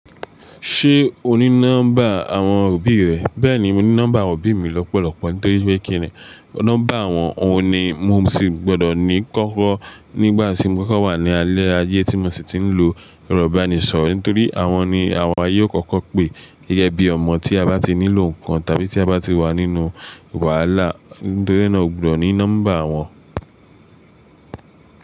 Ṣé o ní nọ́mbà àwọn òbí rẹ? Bẹ́ẹ̀ni, mo ní nọ́mbà àwọn òbí mi lọ́pọ̀lọ́pọ̀ nítorí pé kíni nọ́mbà àwọn òun ni mo sì gbọ́dọ̀ ní kọ́kọ́ nígbà tí mo kọ́kọ́ wà ní alẹ́ ayé tí mo sì ti ń lo erọ̀ ibánisọ̀rọ̀ nítorí àwọn ni àwọn ayé ó kọ́kọ́ pè gẹ́gẹ́ bí ọmọ tí a bá ti nílò nǹkan tàbí tí a bá ti wà nínú wàhálà nítorí náà mó gbọ́dọ̀ ní nọ́mbà àwọn.